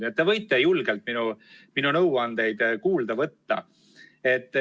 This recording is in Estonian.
Nii et teiegi võite julgelt minu nõuandeid kuulda võtta.